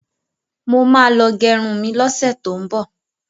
Mo ma lọ gẹrun mi lọ́sẹ̀ tó ń bọ̀.